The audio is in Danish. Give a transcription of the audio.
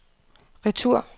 retur